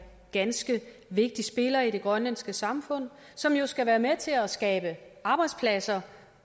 ganske vigtig spiller i det grønlandske samfund som jo skal være med til at skabe arbejdspladser